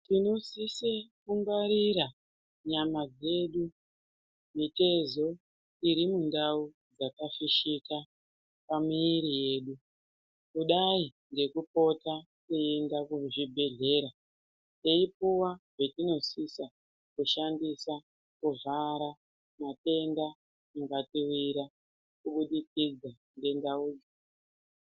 Tino sise ku ngwarira nyama dzedu mitezo iri mu ndau dzaka fishika pa mwiri yedu kudai ngeku pota ku enda ku chibhedhleya tei puwa zvatino sisa ku shandisa ku zvara matenda anga tiwira ku budikidza ne ndau dzo.